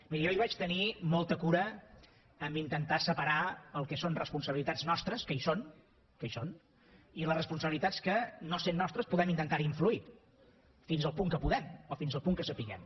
miri jo ahir vaig tenir molta cura a intentar separar el que són responsabilitats nostres que hi són que hi són i les responsabilitats que no sent nostres podem intentar hi influir fins al punt que puguem o fins al punt que sapiguem